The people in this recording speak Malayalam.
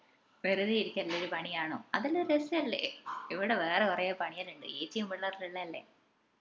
വെറുതെ ഇരിക്കാലെല്ലൊം ഒരു പണി ആണോ അതെല്ലോ ഒരു രസല്ലേ ഇവിടെ വേറെ കൊറേ പണി എല്ലൊം ഇണ്ട് എച്ചിയും പിള്ളാരും എല്ലാം ഇള്ളതല്ലേ